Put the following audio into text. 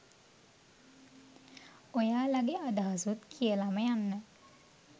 ඔයාලගේ අදහසුත් කියලම යන්න